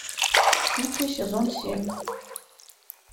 кухня сезон семь